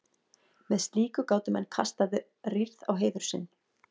með slíku gátu menn kastað rýrð á heiður sinn